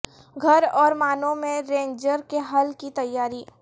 گھر اور معنوں میں رینجر کے حل کی تیاری